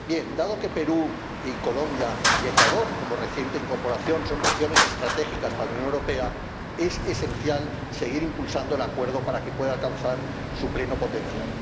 Dado que Perú y Colombia, y Ecuador como reciente incorporación, son regiones estratégicas para la Unión Europea, es esencial seguir impulsando el acuerdo para que pueda alcanzar su pleno potencial.